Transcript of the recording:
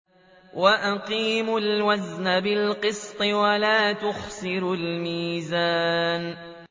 وَأَقِيمُوا الْوَزْنَ بِالْقِسْطِ وَلَا تُخْسِرُوا الْمِيزَانَ